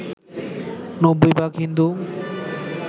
৯০ ভাগ হিন্দু